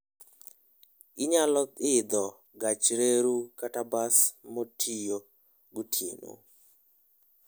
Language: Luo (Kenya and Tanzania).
Inyalo idho gach reru kata bas motiyo gotieno.